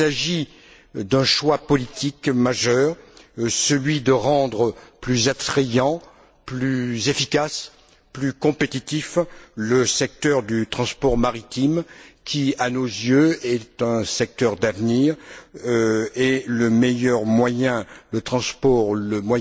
Il s'agit d'un choix politique majeur celui de rendre plus attrayant, plus efficace, plus compétitif le secteur du transport maritime qui, à nos yeux, est un secteur d'avenir et le moyen de transport le